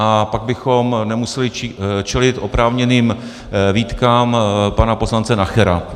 A pak bychom nemuseli čelit oprávněným výtkám pana poslance Nachera.